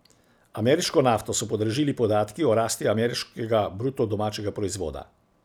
Ameriško nafto so podražili podatki o rasti ameriškega bruto domačega proizvoda.